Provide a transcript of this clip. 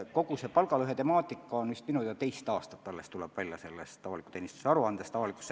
Kogu see palgalõhe temaatika on minu teada alles teist aastat avaliku teenistuse aasta-aruandes käsitletud.